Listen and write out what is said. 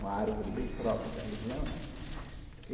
Uma árvore bem própria da região, né?